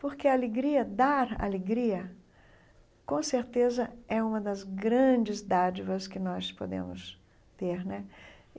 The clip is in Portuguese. Porque a alegria, dar alegria, com certeza, é uma das grandes dádivas que nós podemos ter né.